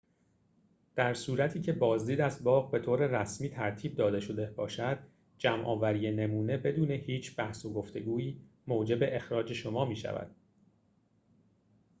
در صورتی که بازدید از باغ به طور رسمی ترتیب داده شده باشد جمع‌آوری نمونه بدون هیچ بحث و گفتگویی موجب اخراج شما می‌شود